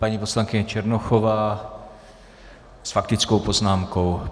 Paní poslankyně Černochová s faktickou poznámkou.